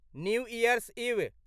new year's इव